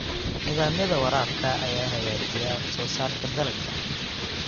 Nidaamyada waraabka ayaa hagaajiya wax soo saarka dalagga.